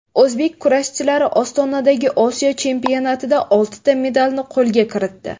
O‘zbek kurashchilari Ostonadagi Osiyo chempionatida oltita medalni qo‘lga kiritdi.